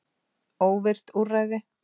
Óvirkt úrræði?